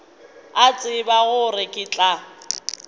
a tseba gore ke tla